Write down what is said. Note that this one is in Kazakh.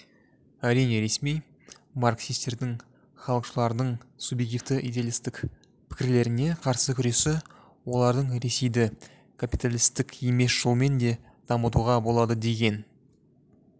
әрине ресми марксистердің халықшылдардың субъективті-идеалистік пікрлеріне қарсы күресі олардың ресейді капиталистік емес жолмен де дамытуға болады деген